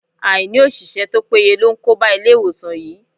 Àìní òṣìṣẹ́ to péye ló ń kóba Ilé-ìwòsàn yìí.